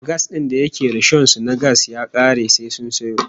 Gas din da ke rishon su na gas ya kare sai sun sayo